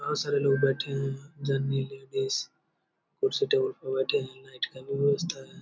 बहुत सारे लोग बैठे हुए हैं। जननी लेडीज कुर्सी-टेबल पे बैठे हैं लाइट का भी व्यवस्था है।